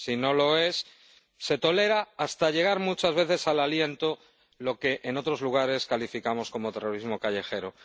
si no lo es, se tolera —hasta llegar muchas veces al aliento— lo que en otros lugares calificamos como terrorismo callejero.